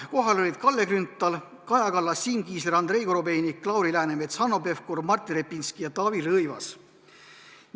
Kohal olid Kalle Grünthal, Kaja Kallas, Siim Kiisler, Andrei Korobeinik, Lauri Läänemets, Hanno Pevkur, Martin Repinski ja Taavi Rõivas.